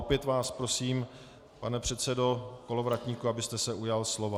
Opět vás prosím, pane předsedo Kolovratníku, abyste se ujal slova.